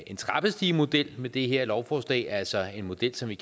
en trappestigemodel med det her lovforslag altså en model som vi